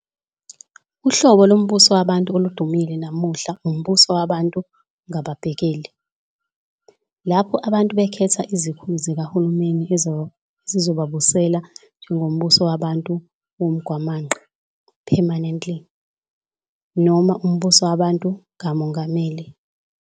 Uhlobo lombusowabantu oludumile namuhla umbusowabantu ngababhekeli, lapho abantu bekhetha izikhulu zikahulumeni ezizobabusela njengombusowabantu womgwamaqa, "parliamentary" noma umbusowabantu kamongameli.